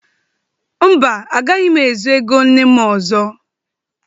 Mba, agaghị m ezu ego nne m ọzọ.